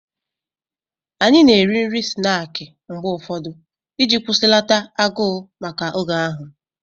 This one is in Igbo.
Anyị na-eri nri snaakị mgbe ụfọdụ iji kwụsịlata agụụ maka oge ahụ